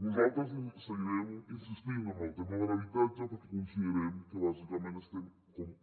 nosaltres seguirem insistint en el tema de l’habitatge perquè considerem que bàsicament estem